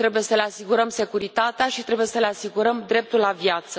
Trebuie să le asigurăm securitatea și trebuie să le asigurăm dreptul la viață.